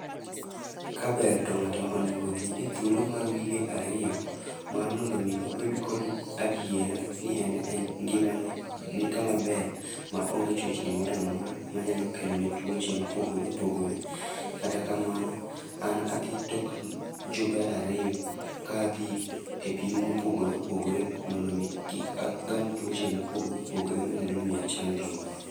Kaber to ng'ato onegi odhi e thuolo mar wige ariyo mar mondo omi obed kod adiera ni ngimane ni kama ber ma onge chochni mora mora ma nyalo kelone tuoche mopogore opogore. Kata kamano, an adhi tok jumbe ariyo ka adhi e pim mopogore opogore mondo kik agam tuoche mopogore opogore manyalo miya chandruok.